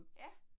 Ja